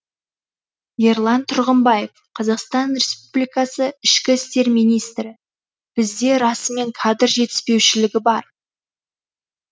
ерлан тұрғымбаев қазақстан республикасы ішкі істер министрі бізде расымен кадр жетіспеушілігі бар